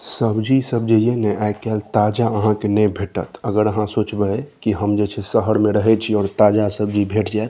सब्जी सब जे ये ने आय काएल ताजा आहाँ के ने भैटत अगर आहाँ सोचबे की हम जे छै शहर में रहे छी और ताजा सब्जी भेट जाए।